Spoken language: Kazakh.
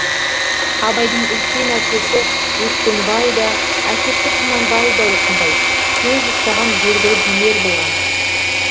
абайдың үлкен әкесі өскенбай да әкесі құнанбай да осындай сөз ұстаған белгілі билер болған